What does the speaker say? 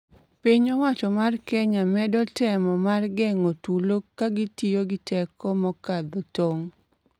Piny owacho mar Kenya medo temo mar geng'o tulo ka gitiyo gi teko mokadho tong.